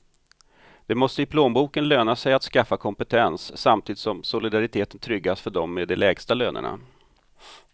Det måste i plånboken löna sig att skaffa kompetens, samtidigt som solidariteten tryggas för dem med de lägsta lönerna.